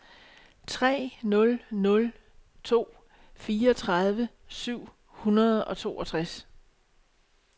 tre nul nul to fireogtredive syv hundrede og toogtres